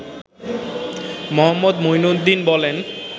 মো.মইনুদ্দিন বলেন